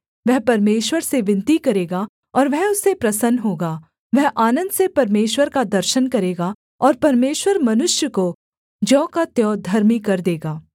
वह परमेश्वर से विनती करेगा और वह उससे प्रसन्न होगा वह आनन्द से परमेश्वर का दर्शन करेगा और परमेश्वर मनुष्य को ज्यों का त्यों धर्मी कर देगा